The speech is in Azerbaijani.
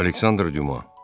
Aleksandr Düma.